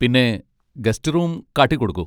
പിന്നെ guest room കാട്ടിക്കൊടുക്കൂ.